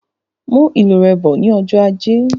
Mú ìlù rẹ bọ ní ọjọ ajé